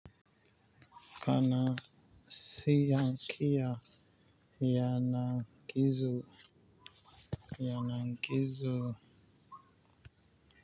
Kana siyan kiya yanan kizo,